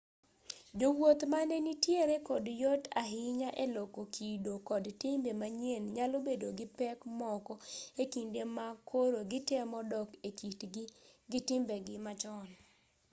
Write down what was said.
jowuoth mane nitiere kod yot ahinya e loko kido kod timbe manyien nyalo bedo gi pek moko e kinde ma koro gitemo dok e kitgi gi timbegi machon